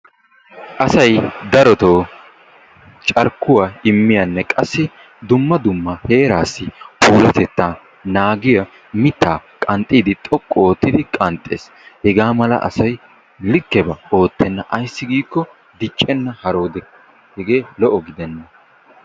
Asay darotoo carkkuwaa immiyaanne qassi dumma dumma heeraassi puullattettaa naagiyaa mittaa qanxxiidi xoqqu oottidi qanxxees. Hegaa mala asay likkebaa oottena. Ayssi giikko diccena haroode. Hegee lo"o gidenna.